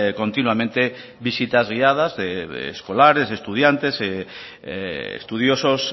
continuamente visitas guiadas de escolares estudiantes estudiosos